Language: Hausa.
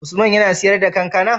Usman yAna siyar da kankAna?